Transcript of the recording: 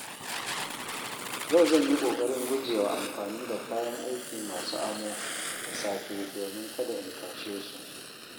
Yau zan yi ƙoƙarin gujewa amfani da kayan aiki masu amo da safe domin kada in tashe su.